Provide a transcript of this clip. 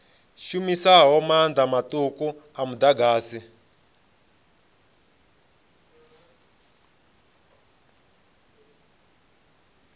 shumisaho maanḓa maṱuku a muḓagasi